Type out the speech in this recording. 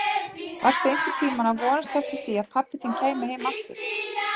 Varstu einhvern tíma að vonast eftir því að pabbi þinn kæmi heim aftur?